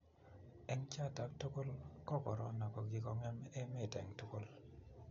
eng choto tugul ko korona ko kikongem emet eng tungul